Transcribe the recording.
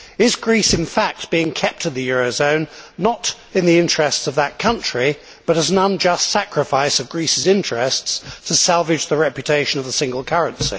Is Greece in fact being kept in the eurozone, not in the interests of that country, but as an unjust sacrifice of Greece's interests to salvage the reputation of the single currency?